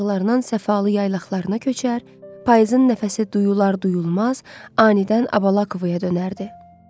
Payızın nəfəsi duyular-duyulmaz, anidən Abalakovaya dönərdi.